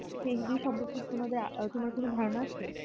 সেই বিষয়ে সম্পর্কে তোমার কিছু ধারনা আছে